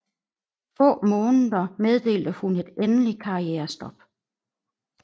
Få måneder meddelte hun et endeligt karrierestop